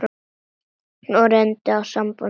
Nú reyndi á sambönd hennar.